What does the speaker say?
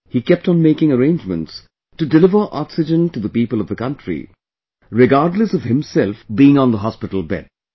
He kept on making arrangements to deliver oxygen to the people of the country, regardless of himself being on the hospital bed